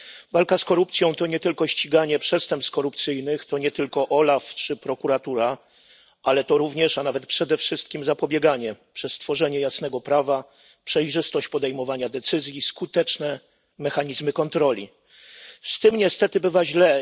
Walka z korupcją to nie tylko ściganie przestępstw korupcyjnych, to nie tylko OLAF czy prokuratura, ale to również, a nawet przede wszystkim, zapobieganie przez stworzenie jasnego prawa, przejrzystość podejmowania decyzji, skuteczne mechanizmy kontroli. Z tym niestety bywa źle.